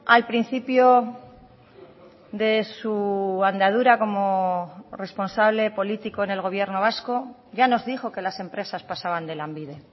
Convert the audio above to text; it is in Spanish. al principio de su andadura como responsable político en el gobierno vasco ya nos dijo que las empresas pasaban de lanbide